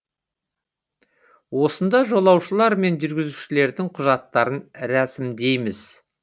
осында жолаушылар мен жүргізушілердің құжаттарын рәсімдейміз